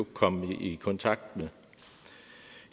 komme i kontakt med